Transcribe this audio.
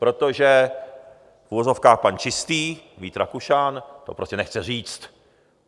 Protože - v uvozovkách - pan čistý, Vít Rakušan, to prostě nechce říct.